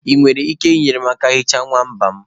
Ị nwere ike inyere m aka ihicha nwamba m?